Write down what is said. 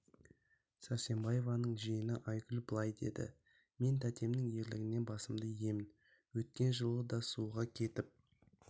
сәрсенбаеваның жиені айгүл былай деді мен тәтемнің ерлігіне басымды иемін өткен жылы да суға кетіп